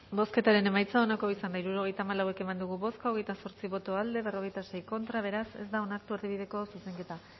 bozketaren emaitza onako izan da hirurogeita hamalau eman dugu bozka hogeita zortzi boto aldekoa cuarenta y seis contra beraz ez da onartu erdibideko zuzenketa